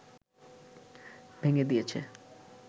ভেঙ্গে দিয়েছে